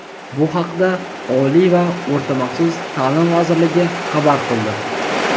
Bu haqda Oliy va o‘rta maxsus ta’lim vazirligi xabar qildi.